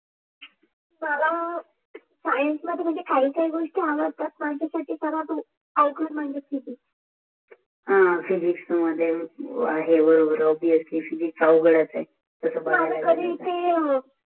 science मध्ये काही काही हे बरोबर नव्हत